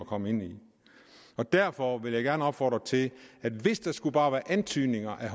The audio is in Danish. komme ind i og derfor vil jeg gerne opfordre til at hvis der skulle være bare antydning af